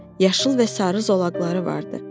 Yaşıl və sarı zolaqları vardı.